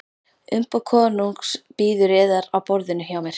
Umboð konungs bíður yðar á borðinu hjá mér.